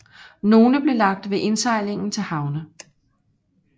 Nogle blev lagt ved indsejlingen til havne